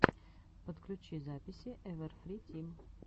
подключи записи эвэрфри тим